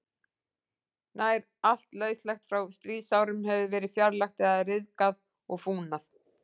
Nær allt lauslegt frá stríðsárunum hefur verið fjarlægt eða ryðgað og fúnað.